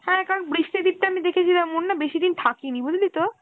হ্যাঁ কারণ বৃষ্টিদির টা আমি দেখেছিলাম ওর না বেশিদিন থাকে নি বুঝলি তো?